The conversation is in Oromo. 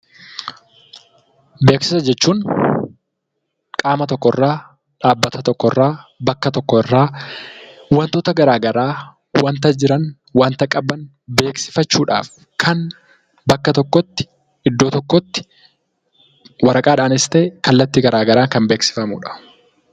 Beeksisa jechuun qaama tokko irraa, dhaabbata tokko irraa, bakka tokko irraa waantota garaa garaa, waanta jiran, waanta qaban beeksifachuudhaaf kan bakka tokkotti, iddoo tokkotti waraqaadhaanis ta'e kallattii garaa garaan kan beeksifamudha.